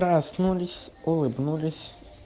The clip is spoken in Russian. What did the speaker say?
проснулись улыбнулись